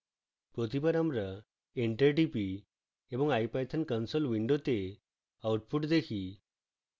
প্রতিবার আমরা enter টিপি এবং ipython console window output দেখি